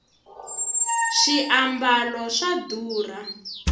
swiambalo swa durha